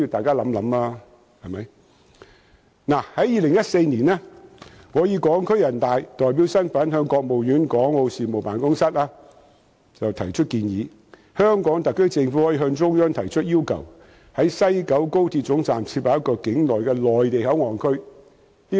在2014年，我以港區人大代表身份向國務院港澳事務辦公室建議，香港特區政府可向中央提出要求，在西九高鐵站設立一個境內的內地口岸區。